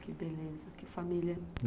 Que beleza, que família.